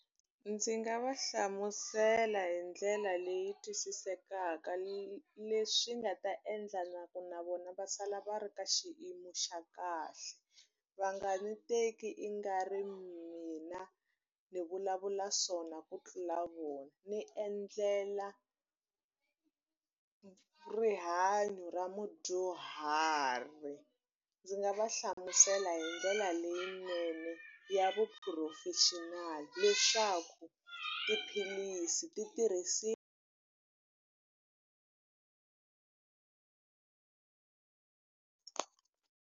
Ndzi nga va hlamusela hi ndlela leyi twisisekaka leswi nga ta endla na ku na vona va sala va ri ka xiyimo xa kahle. Va nga ni teki i nga ri mina ndzi vulavula swona ku tlula vona. Ni endlela rihanyo ra mudyuhari. Ndzi nga va hlamusela hi ndlela leyinene ya vuphurofexinali leswaku tiphilisi ti .